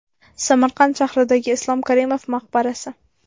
Samarqand shahridagi Islom Karimov maqbarasi .